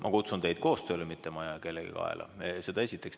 Ma kutsun teid koostööle, mitte ma ei aja kellegi kaela, seda esiteks.